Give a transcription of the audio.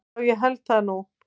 Já ég held það nú.